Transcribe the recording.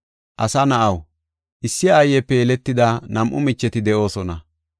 “Asa na7aw, issi aayepe yeletida nam7u micheti de7oosona.